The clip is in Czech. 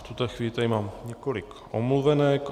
V tuto chvíli tady mám několik omluvenek.